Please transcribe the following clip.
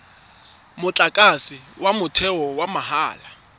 motlakase wa motheo wa mahala